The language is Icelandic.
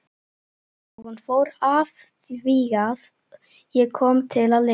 Og hún fór afþvíað ég kom til að lifa.